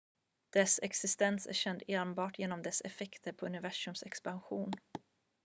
dess existens är känd enbart genom dess effekter på universums expansion